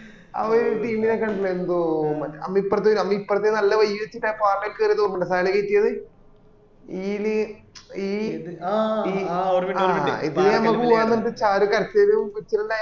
അവിടെ ഒരു team കണ്ടിട്ട് ഉണ്ടാർണണ്ടോ ഓ നമ്മ ഇപ്പ്രത് നമ്മ ഈപ്രത് നല്ല വഴി വച്ചിട്ട് ആ പാറമ്മാ കേറിയത് ഓർമ്മ ഇന്ത സഹ്ല കെട്ടിയത് ഈല് ഈല് ഈ ആ ഈലെ നമ്മ പോയവന്ന് പറഞ്ഞട്ട് ശരി കെട്ടിയത്